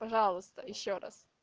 пожалуйста ещё раз